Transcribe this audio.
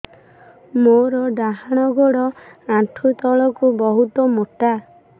ମୋର ଡାହାଣ ଗୋଡ ଆଣ୍ଠୁ ତଳୁକୁ ବହୁତ ମୋଟା